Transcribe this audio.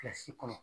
Kilasi kɔnɔ